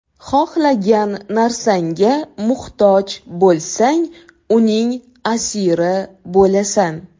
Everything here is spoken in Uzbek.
Xohlagan narsangga muhtoj bo‘lsang, uning asiri bo‘lasan.